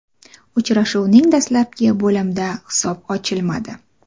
Uchrashuvning dastlabki bo‘limda hisob ochilmadi.